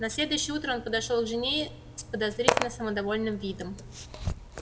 на следующее утро он подошёл к жене с подозрительно самодовольным видом